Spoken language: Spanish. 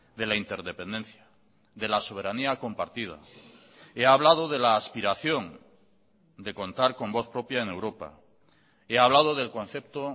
de la interdependencia de la soberanía compartida he hablado de la aspiración de contar con voz propia en europa he hablado del concepto